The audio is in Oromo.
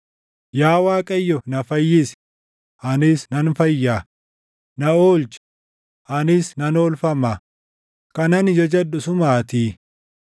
Yaa Waaqayyo na fayyisi; anis nan fayyaa; na oolchi, anis nan oolfama; kan ani jajadhu sumaatii.